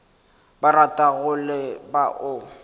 ba ratago le ba o